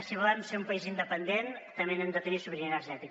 si volem ser un país independent també hem de tenir sobirania energètica